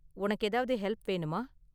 உனக்கு ஏதாவது ஹெல்ப் வேணுமா?